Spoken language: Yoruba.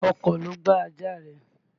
Ọkọ̀ ló gbá ajá rẹ.